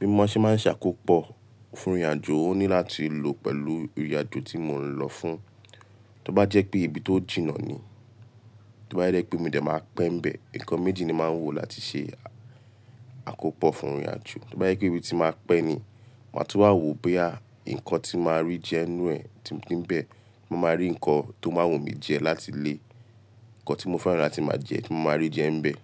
Bí mọ́ ṣe máa ń ṣ'àkópọ̀ fún ìrìnàjò, ó ní láti lò pẹ̀lú ìrìnàjò tí mo ń lọ fún. Tí ó bá jẹ́ pé ibi tó jìnnà ni, tí ó bá jẹ pé mo dẹ̀ máa pẹ́ bẹ̀, nǹkan méjì ni máa ń wò láti ṣe àkópọ̀ fún ìrìnàjò. Tí ó bá jẹ pé ibi tí máa pẹ́ ni, màá tún wá wò bóyá nǹkan tí màá rí jẹ nú ẹ tí mo ti bẹ̀, mo máa rí nǹkan tó máa wù mí jẹ láti lé, nǹkan tí mo fẹ́ràn láti máa jẹ tí mo máa rí jẹ n bẹ̀.